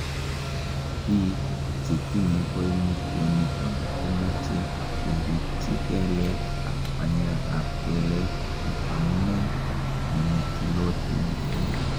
Biik chetinye koimutioniton komoche keripchi kelek ak panyekab kelek en amune nemochulotin kelek.